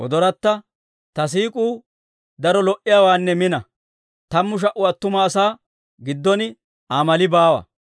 Ta siik'uu daro lo"iyaawaanne mina; tammu sha"u attuma asaa giddon Aa mali baawa.